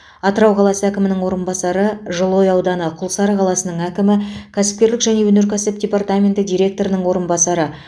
атырау қаласы әкімінің орынбасары жылыой ауданы құлсары қаласының әкімі кәсіпкерлік және өнеркәсіп департаменті директорының орынбасары